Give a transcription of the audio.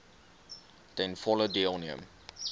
ten volle deelneem